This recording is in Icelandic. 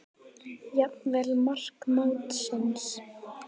Jafnvel mark mótsins?